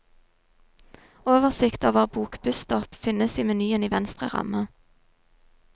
Oversikt over bokbusstopp finnes i menyen i venstre ramme.